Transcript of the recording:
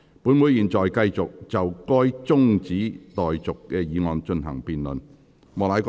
本會現在繼續就該中止待續議案進行辯論。